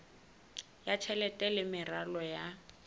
ya tjhelete le meralo ya